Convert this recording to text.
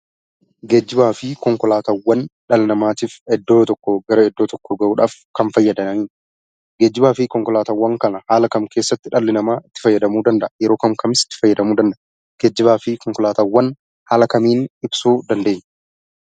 Geejjibaa fi konkolaataawwan dhala namaatif iddoo tokkoo gara iddoo tokkoo gahuudhaaf kan fayyadan. Geejjibaafi Konkolaataawwan kana haala kam keessatti dhalli namaa itti fayyadamuu danda'a? yeroo kam kamis itti fayyadamuu danda'a? geejjibaafi konkolaataawwan haala kamiin ibsuu dandeenya?